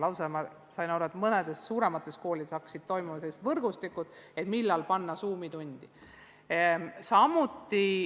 Ma sain lausa aru, et mõnes suuremas koolis hakkasid toimima sellised võrgustikud, kus koordineeriti, millal teha Zoomi tund.